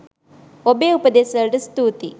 ඔබේ උපදෙස් වලට ස්තූතියි.